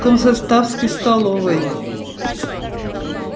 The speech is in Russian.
в комсоставской столовой